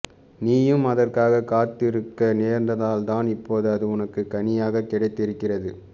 நீயும் அதற்காக காத்திருக்க நேர்ந்ததால்தான் இப்போது அது உனக்குக் கனியாகக் கிடைத்திருக்கிறது